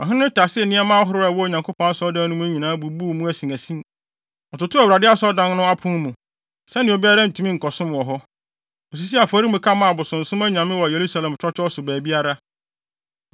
Ɔhene no tasee nneɛma ahorow a ɛwɔ Onyankopɔn Asɔredan no mu nyinaa bubuu mu asinasin. Ɔtotoo Awurade asɔredan no apon mu, sɛnea obiara ntumi nkɔsom wɔ hɔ. Osisii afɔremuka maa abosonsom anyame wɔ Yerusalem twɔtwɔw so baabiara.